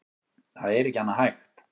Það er ekki annað hægt